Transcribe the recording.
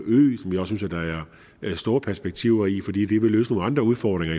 ø store perspektiver i fordi det vil løse nogle andre udfordringer